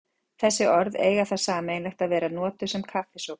Þessi orð eiga það sameiginlegt að vera notuð um kaffisopa.